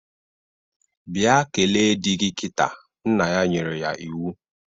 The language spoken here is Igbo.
Bịa kele di gi kịta, nna ya nyere ya iwu